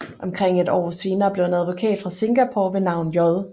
Omkring et år senere blev en advokat fra Singapore ved navn J